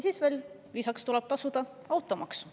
Siis tuleb veel lisaks tasuda automaks.